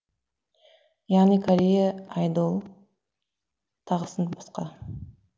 яғни корея айдол тағысын басқа